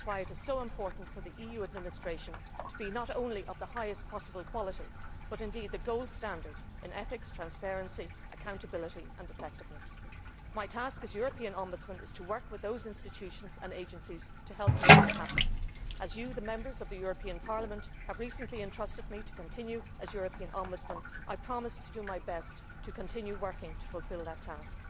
gap'. This is why it is so important for the EU administration to be not only of the highest possible quality, but indeed to be the gold standard' in ethics, transparency, accountability and effectiveness. My task as European Ombudsman is to work with the institutions and agencies to help make that happen. As you, the Members of the European Parliament, have recently trusted me to continue as European Ombudsman, I promise to do my best to continue working to fulfil that